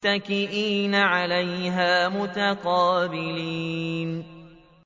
مُّتَّكِئِينَ عَلَيْهَا مُتَقَابِلِينَ